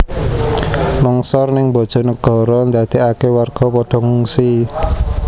Longsor ning Bojonegoro ndadeake warga podo ngungsi